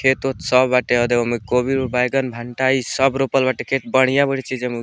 खेत-उत सब हटे हो देख होमें कोबी मम बैगन भनटा इ सब रोपल बाटे खेत बढ़ियां-बढ़ियां चीज --